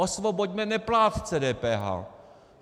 Osvoboďme neplátce DPH.